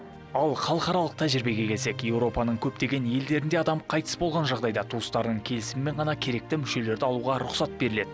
ал халықаралық тәжірибеге келсек европаның көптеген елдерінде адам қайтыс болған жағдайда туыстарының келісімімен ғана керекті мүшелерді алуға рұқсат беріледі